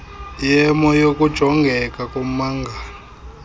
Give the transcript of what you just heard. yemo yokujongeka kommangali